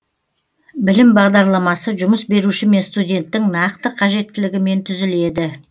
білім бағдарламасы жұмыс беруші мен студенттің нақты қажеттілігімен түзіледі